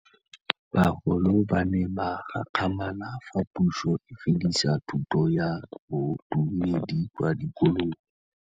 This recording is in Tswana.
Bagolo ba ne ba gakgamala fa Pusô e fedisa thutô ya Bodumedi kwa dikolong.